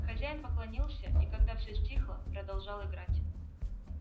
хозяин поклонился и когда всё стихло продолжал играть